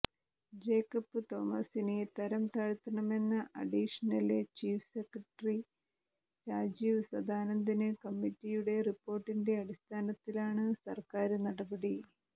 Jacob തോമസിനെ തരം താഴ്ത്തണമെന്ന additional chief secretary Rajeev Sadanandan കമ്മറ്റിയുടെ റിപ്പോര്ട്ടിന്റെ അടിസ്ഥാനത്തിലാണ് സര്ക്കാര് നടപടി